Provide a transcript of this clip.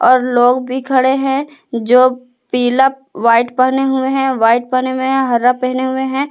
और लोग भी खड़े है जो पीला व्हाइट पहने हुए है व्हाइट पहने हुए है हरा पहने हुए हैं।